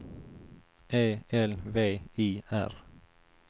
E L V I R